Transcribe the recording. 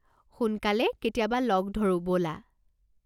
সোনকালে কেতিয়াবা লগ ধৰো ব'লা।